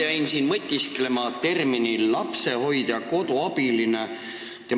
Ma jäin siin mõtisklema termini "lapsehoidja-koduabiline" üle.